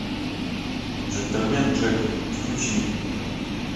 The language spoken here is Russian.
джентльмен джек включи